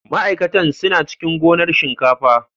Ma'aikatan suna cikin gonar shinkafa.